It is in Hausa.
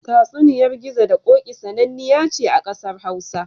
Tatsuniyar Gizo da Ƙoƙi sananniya ce ƙasar Hausa.